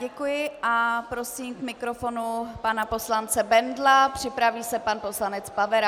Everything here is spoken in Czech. Děkuji a prosím k mikrofonu pana poslance Bendla, připraví se pan poslanec Pavera.